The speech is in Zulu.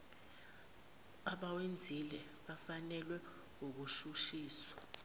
abawenzile befunelwa ukushushiswa